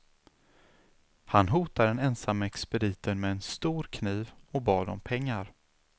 Han hotade den ensamma expediten med en stor kniv och bad om pengar.